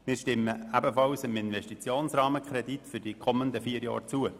Wir stimmen ebenfalls dem Investitionsrahmenkredit für die kommenden vier Jahre zu.